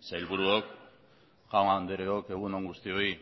sailburuok jaun andreok egun on guztioi